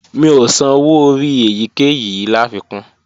Mi ò san owó orí èyíkéyìí láfikún